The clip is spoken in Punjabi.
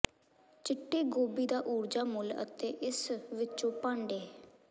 ਚਿੱਟੇ ਗੋਭੀ ਦਾ ਊਰਜਾ ਮੁੱਲ ਅਤੇ ਇਸ ਵਿੱਚੋਂ ਭਾਂਡੇ